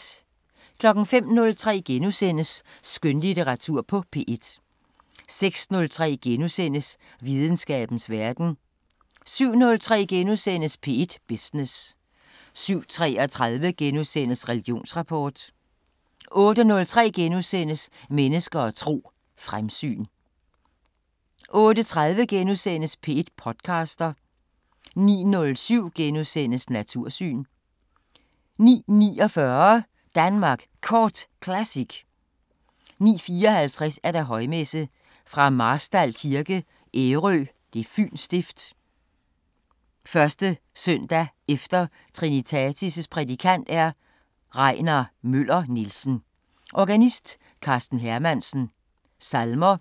05:03: Skønlitteratur på P1 * 06:03: Videnskabens Verden * 07:03: P1 Business * 07:33: Religionsrapport * 08:03: Mennesker og tro: Fremsyn * 08:30: P1 podcaster * 09:07: Natursyn * 09:49: Danmark Kort Classic 09:54: Højmesse - Fra Marstal Kirke, Ærø, Fyns Stift. 1.s.e. Trinitatis Prædikant: Regnar Møller Nielsen. Organist: Karsten Hermansen. Salmer: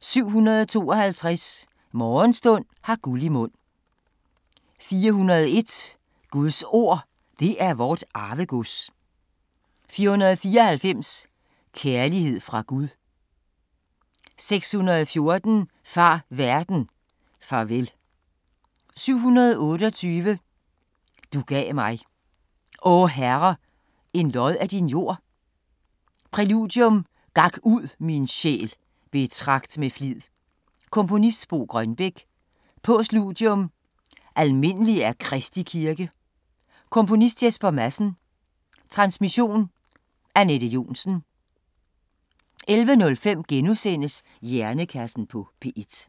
752: Morgenstund har guld i mund. 401: Guds Ord det er vort arvegods. 494: Kærlighed fra Gud. 614: Far verden, farvel. 728: Du gav mig. o Herre en lod af din jord. Præludium: Gak ud, min sjæl, betragt med flid. Komponist: Bo Grønbech. Postludium: Almindelig er Kristi Kirke. Komponist: Jesper Madsen. Transmission: Anette Johnsen. 11:05: Hjernekassen på P1 *